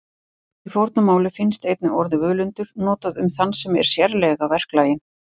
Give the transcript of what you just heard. Í fornu máli finnst einnig orðið völundur notað um þann sem er sérlega verklaginn.